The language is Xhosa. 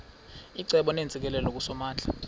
icebo neentsikelelo kusomandla